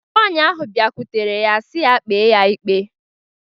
Nwaanyị ahụ bịakwutere ya sị ya kpee ya ikpe.